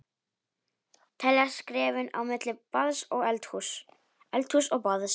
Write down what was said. Telja skrefin á milli baðs og eldhúss, eldhúss og baðs.